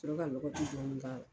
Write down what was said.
sɔrɔ ka lɔgɔti dɔɔni k'a la.